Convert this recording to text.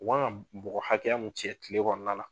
O kan ka bɔgɔ hakɛya mun cɛ tile kɔnɔna na.